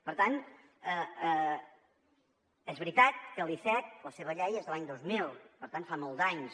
per tant és veritat que l’icec la seva llei és de l’any dos mil per tant fa molts d’anys